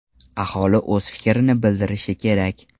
Aholi o‘z fikrini bildirishi kerak.